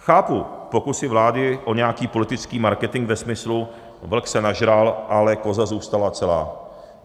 Chápu pokusy vlády o nějaký politický marketing ve smyslu vlk se nažral, ale koza zůstala celá.